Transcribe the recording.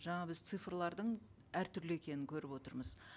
жаңа біз цифрлардың әртүрлі екенін көріп отырмыз